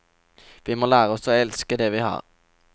Vi må lære oss å elske det vi har.